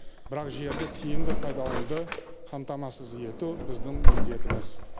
бірақ жерді тиімді пайдалануды қамтамасыз ету біздің міндетіміз